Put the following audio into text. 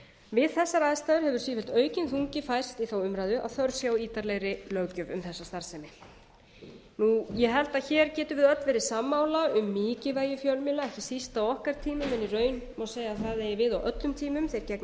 við þessar aðstæður hefur sífellt aukinn þungi færst í þá umræðu að þörf sé á ítarlegri löggjöf um þessa starfsemi ég held að hér getum við öll verið sammála um mikilvægi fjölmiðla ekki síst á okkar tímum en í raun má segja að það eigi við á öllum tímum þeir gegna